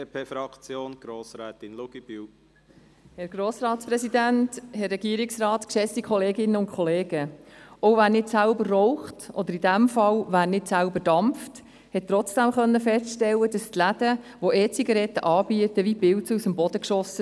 Auch wer nicht selber raucht oder dampft, konnte feststellen, dass die Geschäfte, welche E-Zigaretten anbieten, wie Pilze aus dem Boden schossen.